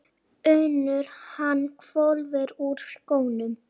UNNUR: Hann hvolfir úr skónum.